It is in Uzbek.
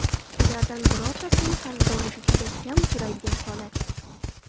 Ulardan birortasining qarzdorligi juda kam uchraydigan holat.